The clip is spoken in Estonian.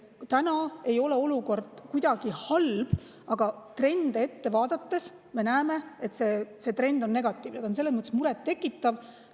Täna ei ole olukord kuidagi halb, aga trende vaadates me näeme, et need on negatiivsed ja selles mõttes muret tekitavad.